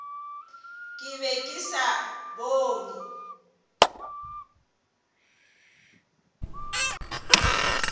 ke be ke sa bone